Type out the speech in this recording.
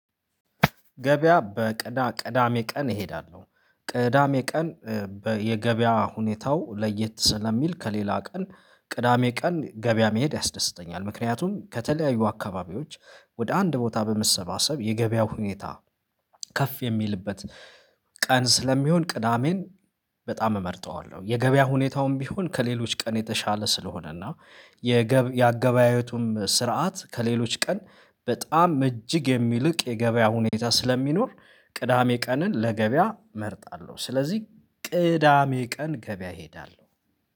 ገበያ በቅዳ ቅዳሜ ቀን እሄዳለሁ ቅዳሜ ቀን በየገበያ ሁኔታው ለየት ስለሚል ከሌላ ቀን ቅዳሜ ቀን ገበያ መሄድ ያስደስተኛል። ምክንያቱም ከተለያዩ አካባቢዎች ወደ አንድ ቦታ በመሰባሰብ የገበያው ሁኔታ ከፍ የሚልበት ቀን ስለሚሆን ቅዳሜን በጣም እመርጠዋለሁ። የገበያ ሁኔታውም ቢሆን ከሌሎች ቀን የተሻለ ስለሆነና የገብ የአገበያየቱም ስርዓት ከሌሎች ቀን በጣም እጅግ የሚልቅ የገበያ ሁኔታ ስለሚኖር ቅዳሜ ቀንን ለገበያ እመርጣለሁ። ስለዚህ ቅዳሜ ቀን ገበያ እሄዳለሁ